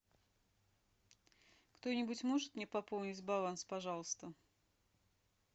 кто нибудь может мне пополнить баланс пожалуйста